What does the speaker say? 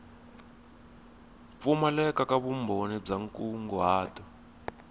pfumaleka ka vumbhoni bya nkunguhato